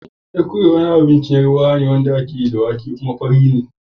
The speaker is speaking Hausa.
Ekuru wani abun ciye-ciye ne na Yarbawa da ake yi da wake, kuma fari ne.